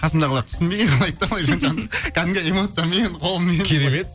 қасымдағылар түсінбей қарайды да кәдімгі эмоциямен қолмен былай керемет